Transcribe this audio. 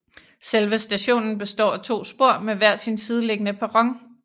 Selve stationen består af to spor med hver sin sideliggende perron